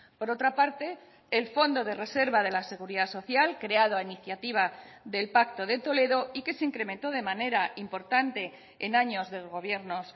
por otra parte el fondo de reserva de la seguridad social creado a iniciativa del pacto de toledo y que se incrementó de manera importante en años de gobiernos